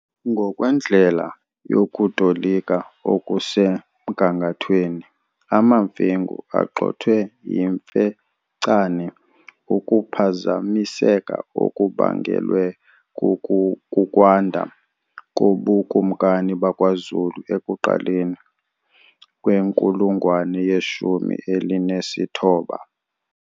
Ngokwendlela yokutolika okusemgangathweni, amaMfengu agxothwe yiMfecane, ukuphazamiseka okubangelwe kukwanda kobukumkani bakwaZulu ekuqaleni kwenkulungwane yeshumi elinesithoba.